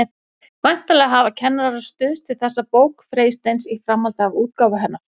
Væntanlega hafa kennarar stuðst við þessa bók Freysteins í framhaldi af útgáfu hennar.